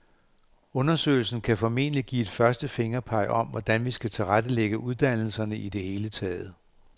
Undersøgelsen kan formentlig give et første fingerpeg om, hvordan vi skal tilrettelægge uddannelserne i det hele taget.